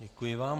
Děkuji vám.